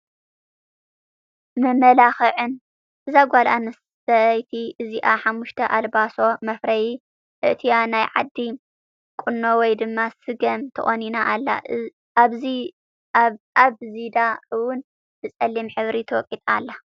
መመላክዕን፦ እዛ ጓል ኣነስተይቲ እዚኣ 5ተ ኣልባሶ መፍረይ ኣእትያ ናይ ዓዲ ቁና ወይ ድማ ስገም ተቆኒና ኣላ ። ኣብ ዚዳ እወን ብፀሊም ሕብሪ ተወቂጣ ኣላ።